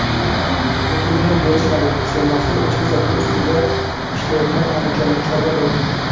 lekin yer berishmadi — sermahsul echki zoti ustida ishlayotgan andijonlik chorvador.